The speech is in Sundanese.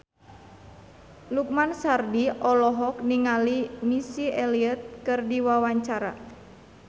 Lukman Sardi olohok ningali Missy Elliott keur diwawancara